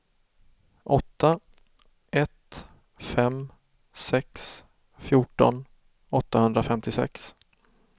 åtta ett fem sex fjorton åttahundrafemtiosex